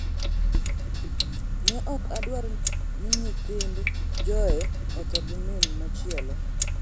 ‘Ne ok adwar ni nyithind Joe otho gi min machielo.